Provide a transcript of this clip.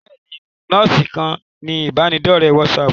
Bẹ́ẹ̀ni, lọ sí ìkànnì ibanidọ̀rẹ́ WhatsApp.